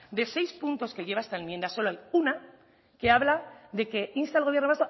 de seis puntos que lleva esta enmienda solo hay una que habla de que insta al gobierno